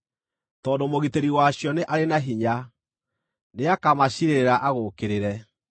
tondũ Mũgitĩri wacio nĩ arĩ na hinya; nĩakamaciirĩrĩra agũũkĩrĩre.